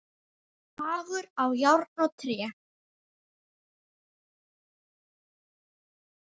Hagur á járn og tré.